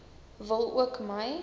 wil ook my